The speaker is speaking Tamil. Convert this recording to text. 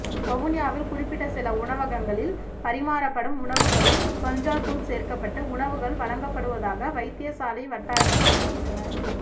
வவுனியாவில் குறிப்பிட்ட சில உணவகங்களில் பரிமாறப்படும் உணவுகளில் கஞ்சா தூள் சேர்க்கப்பட்டு உணவுகள் வழங்கப்படுவதாக வைத்தியசாலை வட்டாரங்கள் தெரிவிக்கின்றன